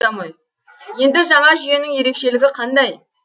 енді жаңа жүйенің ерекшелігі қандай